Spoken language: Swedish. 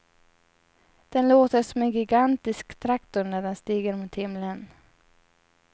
Den låter som en gigantisk traktor när den stiger mot himlen.